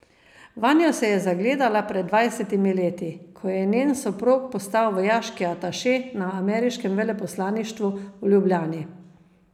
Vanjo se je zagledala pred dvajsetimi leti, ko je njen soprog postal vojaški ataše na ameriškem veleposlaništvu v Ljubljani.